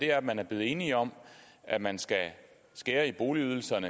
er at man er blevet enige om at man skal skære i boligydelsen